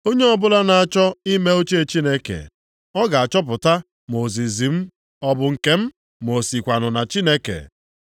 Onye ọbụla na-achọ ime uche Chineke, ọ ga-achọpụta ma ozizi m ọ bụ nke m ma o sikwanụ na Chineke.